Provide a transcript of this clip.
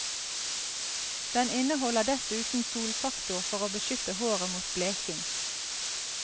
Den inneholder dessuten solfaktor for å beskytte håret mot bleking.